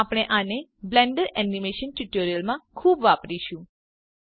આપણે આને Blender animation ટ્યુટોરીયલોમાં ખુબ વાપરીશું